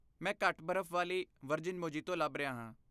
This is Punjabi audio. ਮੈਂ ਘੱਟ ਬਰਫ਼ ਵਾਲੀ ਵਰਜਿਨ ਮੋਹੀਤੋ ਲੱਭ ਰਿਹਾ ਹਾਂ।